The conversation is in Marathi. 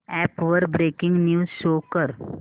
अॅप वर ब्रेकिंग न्यूज शो कर